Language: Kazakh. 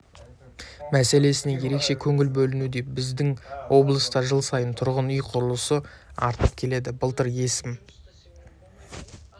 мәселесіне ерекше көңіл бөлінуде біздің облыста жыл сайын тұрғын үй құрылысы артып келеді былтыр өсім